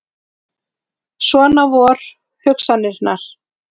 Svona vor hugsanirnar.